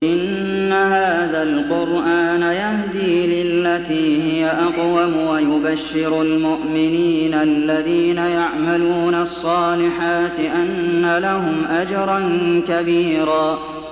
إِنَّ هَٰذَا الْقُرْآنَ يَهْدِي لِلَّتِي هِيَ أَقْوَمُ وَيُبَشِّرُ الْمُؤْمِنِينَ الَّذِينَ يَعْمَلُونَ الصَّالِحَاتِ أَنَّ لَهُمْ أَجْرًا كَبِيرًا